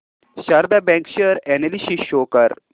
Sharda bank share analysis show कर